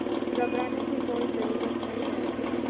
घबराने की कोई ज़रूरत नहीं